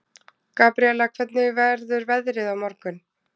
Gabríella, hvernig verður veðrið á morgun?